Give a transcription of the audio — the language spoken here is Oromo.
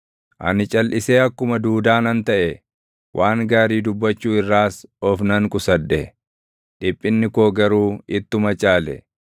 Ani calʼisee akkuma duudaa nan taʼe; waan gaarii dubbachuu irraas of nan qusadhe; dhiphinni koo garuu ittuma caale;